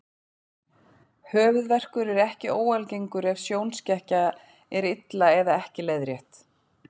Höfuðverkur er ekki óalgengur ef sjónskekkja er illa eða ekki leiðrétt.